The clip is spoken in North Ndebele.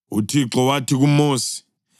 UThixo wathi kuMosi,